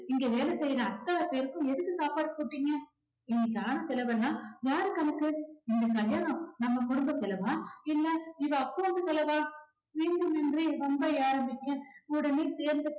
இங்க வேலை செய்யுற அத்தனை பேருக்கும் எதுக்கு சாப்பாடு போட்டீங்க இன்னைக்கு ஆன செலவெல்லாம் யார் கணக்கு? இந்த கல்யாணம் நம்ம குடும்ப செலவா இல்ல இவ அப்பன் வீட்டு செலவா வேண்டுமென்றே வம்பை ஆரம்பிக்க உடனே சேர்ந்து